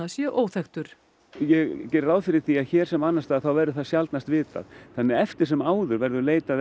sé óþekktur ég geri ráð fyrir því að hér sem annars staðar þá verði það sjaldnast vitað þannig að eftir sem áður verður leitað